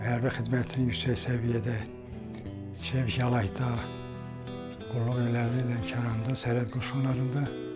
Hərbi xidmətini yüksək səviyyədə çəmiş, Talayda qulluq elədi, Lənkəranda, Sərhəd Qoşunlarında.